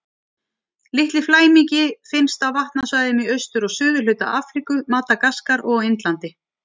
Litli flæmingi finnst á vatnasvæðum í austur- og suðurhluta Afríku, Madagaskar og á Indlandi.